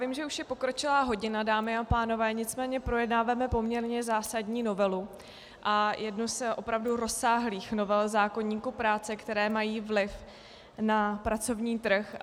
Vím, že už je pokročilá hodina, dámy a pánové, nicméně projednáváme poměrně zásadní novelu a jednu z opravdu rozsáhlých novel zákoníku práce, které mají vliv na pracovní trh.